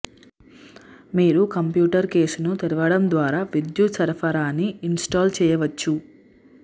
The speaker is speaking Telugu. మీరు కంప్యూటర్ కేసును తెరవడం ద్వారా విద్యుత్ సరఫరాని ఇన్స్టాల్ చేయవచ్చు